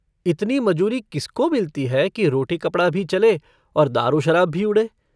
इतनी मजूरी किसको मिलती है कि रोटी-कपड़ा भी चले और दारू-शराब भी उड़े।